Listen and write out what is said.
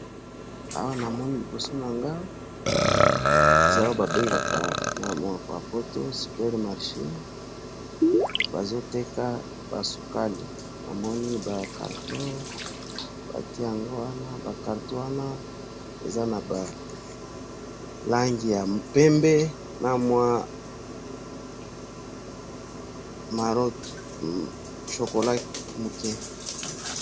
Awa namoni liboso na Ngai eza Oyo ba bengaka na monoko ya poto supermarché, bazo Teka basukali. Namoni ba cartons, batie ango wana ba cartons wana eza na ba langi ya pembe na mwa maron, chocolat muke.